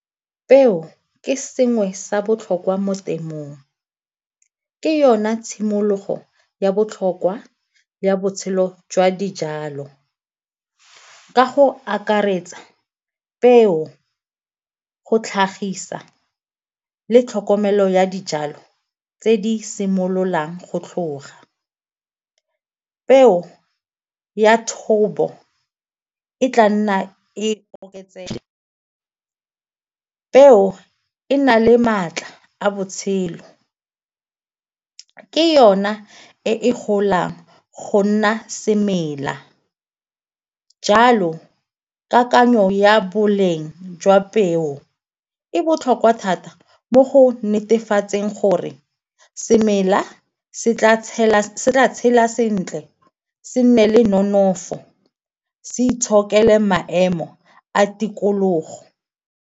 Peo ke sengwe sa botlhokwa mo temong, ke yona tshimologo ya botlhokwa ya botshelo jwa dijalo. Ka go akaretsa peo go tlhagisa le tlhokomelo ya dijalo tse di simololang go tlhoga. Peo ya thobo e tla nna e oketsega, peo e na le maatla a botshelo, ke yona e golang go nna semela jalo kakanyo ya boleng jwa peo e botlhokwa thata mo go netefatseng gore semela se tla tshela sentle se nne le nonofo, se itshokela maemo a tikologo.